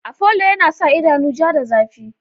Afolo yana sa idanu ja da zafi.